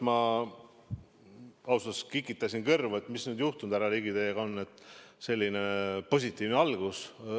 Ma ausalt öeldes kikitasin kõrvu, mis nüüd, härra Ligi, teiega juhtunud on, et selline positiivne algus.